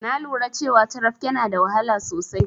Na lura cewa carafke na da wahala sosai.